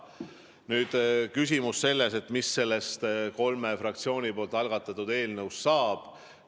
Nüüd küsimus, mis sellest kolme fraktsiooni algatatud eelnõust saab.